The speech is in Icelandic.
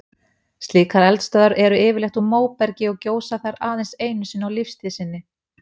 Slíkar eldstöðvar eru yfirleitt úr móbergi og gjósa þær aðeins einu sinni á lífstíð sinni.